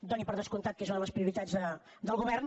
doni per descomptat que és una de les prioritats del govern